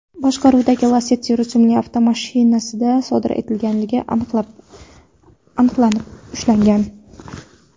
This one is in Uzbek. boshqaruvidagi Lacetti rusumli avtomashinasida sodir etganligi aniqlanib ushlangan.